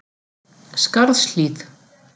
Skarðshlíð